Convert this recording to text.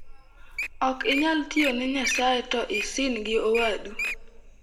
"Ok inyal tiyo ne Nyasaye to isind owadu."